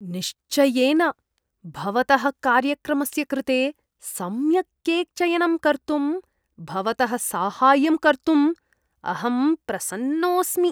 निश्चयेन! भवतः कार्यक्रमस्य कृते सम्यक् केक् चयनं कर्तुं भवतः साहाय्यं कर्तुं अहं प्रसन्नोऽस्मि।